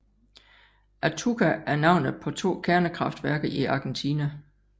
Atucha er navnet på to kernekraftværker i Argentina